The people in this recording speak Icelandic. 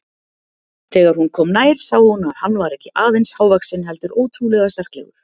Þegar hún kom nær sá hún að hann var ekki aðeins hávaxinn heldur ótrúlega sterklegur.